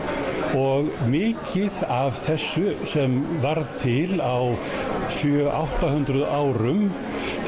og mikið af þessu sem varð til á sjö átta hundruð árum